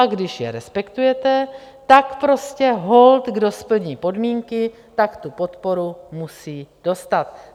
A když je respektujete, tak prostě holt kdo splní podmínky, tak tu podporu musí dostat.